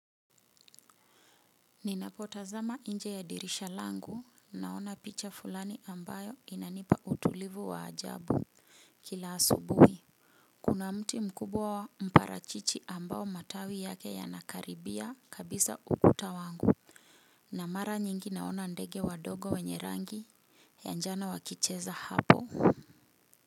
Ninapotazama nje ya dirisha langu naona picha fulani ambayo inanipa utulivu wa ajabu. Kila asubuhi kuna mti mkubwa wa mparachichi ambao matawi yake yanakaribia kabisa ukuta wangu Namara nyingi naona ndege wadogo wenye rangi ya njano wakicheza hapo.